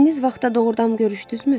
Dediyiniz vaxtda doğurdanmı görüşdünüzmü?